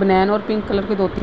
बनियान और pink colour की धोती --